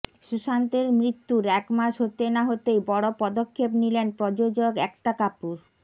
সুশান্তের মৃত্যুর একমাস হতে না হতেই বড় পদক্ষেপ নিলেন প্রযোজক একতা কাপুর